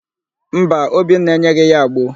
Mba, Obinna enyeghị ya agbo.